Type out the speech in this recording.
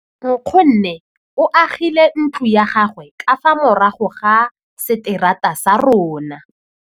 Nkgonne o agile ntlo ya gagwe ka fa morago ga seterata sa rona.